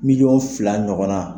BMiliyɔn fila ɲɔgɔnna.